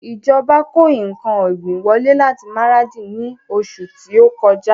Ìjọba kó ǹkan ọ̀gbìn wọlé láti Maradi ni oṣù ti o kọjá